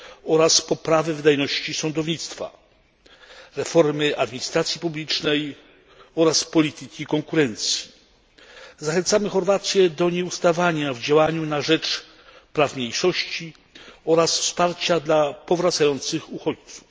oraz poprawy wydajności sądownictwa, reformy administracji publicznej oraz polityki konkurencji. Zachęcamy Chorwację do nieustawania w działaniu na rzecz praw mniejszości oraz wsparcia dla powracających uchodźców.